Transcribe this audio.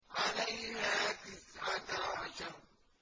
عَلَيْهَا تِسْعَةَ عَشَرَ